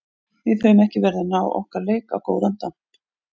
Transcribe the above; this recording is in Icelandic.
Við höfum ekki verið að ná okkar leik á góðan damp.